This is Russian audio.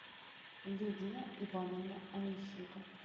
лидия ивановна онищенко